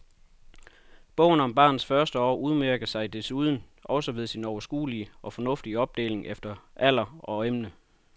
Bogen om barnets første år udmærker sig desuden også ved sin overskuelige og fornuftige opdeling efter alder og emne.